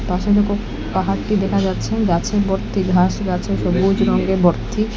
পাশে দেখো পাহাড়টি দেখা যাচ্ছে গাছে ভর্তি ঘাস গাছে সবুজ রঙে ভর্তি।